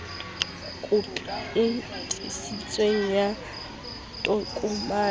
khopi e tiiseditsweng ya tokomane